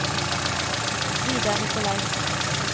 Vidar Nikolaisen